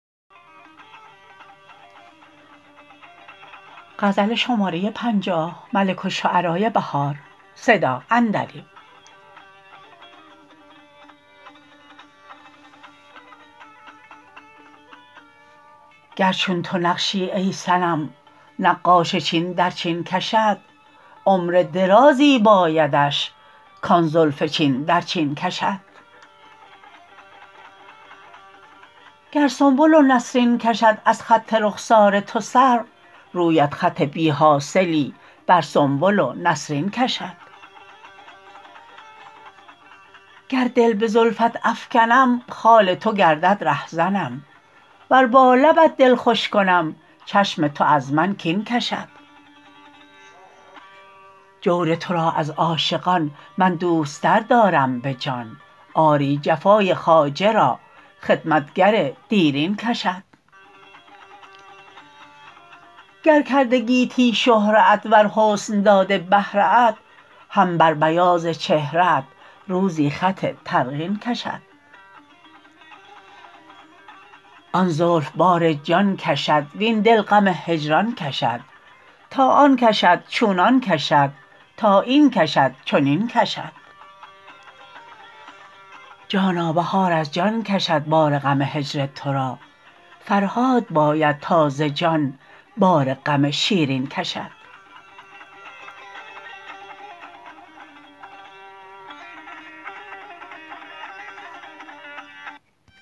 گر چون تو نقشی ای صنم نقاش چین در چین کشد عمر درازی بایدش کان زلف چین در چین کشد گر سنبل و نسرین کشد از خط رخسار تو سر رویت خط بیحاصلی بر سنبل و نسرین کشد گر دل به زلفت افکنم خال تو گردد رهزنم ور با لبت دل خوش کنم چشم تو از من کین کشد جور تو را از عاشقان من دوست تر دارم به جان آری جفای خواجه را خدمتگر دیرین کشد گر کرده گیتی شهره ات ور حسن داده بهره ات هم بر بیاض چهره ات روزی خط ترقین کشد آن زلف بار جان کشد وین دل غم هجران کشد تا آن کشد چونان کشد تا این کشد چونین کشد جانا بهار از جان کشد بار غم هجر تو را فرهاد باید تا ز جان بار غم شیرین کشد